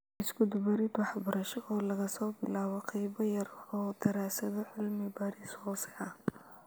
Isku-dubarid wax-barasho oo laga soo bilaabo qaybo-yar oo daraasado cilmi-baaris hoose ah.